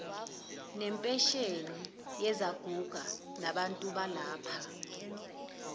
ngempesheni yezaguga nabantubalapha